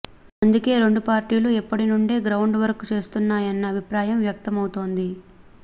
అందుకే రెండు పార్టీలు ఇప్పటి నుండే గ్రౌండ్ వర్క్ చేస్తున్నాయన్న అభిప్రాయం వ్యక్తం అవుతోంది